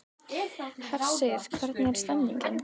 Hersir, hvernig er stemningin?